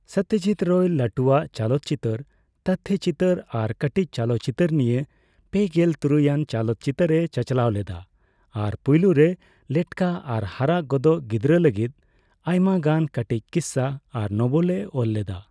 ᱥᱚᱛᱚᱡᱤᱛ ᱨᱟᱭ ᱞᱟᱹᱴᱩᱣᱟᱜ ᱪᱚᱞᱚᱠᱪᱤᱛᱟᱹᱨ ᱛᱚᱛᱛᱷᱚᱪᱤᱛᱟᱹᱨ ᱟᱨ ᱠᱟᱹᱴᱤᱪ ᱪᱚᱞᱚᱠᱪᱤᱛᱟᱹᱨ ᱱᱤᱭᱮ ᱯᱮᱜᱮᱞ ᱛᱩᱨᱩᱭ ᱟᱱ ᱪᱚᱞᱚᱠᱪᱤᱛᱟᱹᱨᱮ ᱪᱟᱪᱟᱞᱟᱣ ᱞᱮᱫᱟᱭ ᱟᱨ ᱯᱳᱭᱞᱚᱨᱮ ᱞᱮᱴᱠᱟ ᱟᱨ ᱦᱟᱨᱟᱜᱚᱫᱚᱜ ᱜᱤᱫᱽᱨᱟᱹ ᱞᱟᱹᱜᱤᱫ ᱟᱭᱢᱟ ᱜᱟᱱ ᱠᱟᱹᱴᱤᱪ ᱠᱤᱥᱟᱹ ᱟᱨ ᱱᱳᱵᱮᱞᱮ ᱚᱞ ᱞᱮᱫᱟ᱾